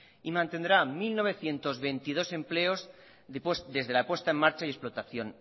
y mantendrá mil novecientos veintidós empleos desde la puesta en marcha y explotación